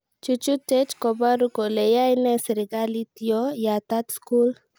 Chuchuchet kobaru kole yaene serikalit yo yataat skul